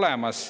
olemas.